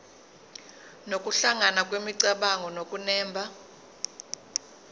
nokuhlangana kwemicabango nokunemba